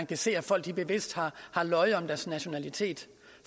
kan se at folk bevidst har løjet om deres nationalitet